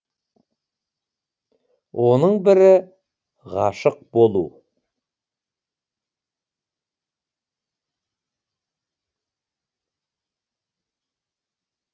оның бірі ғашық болу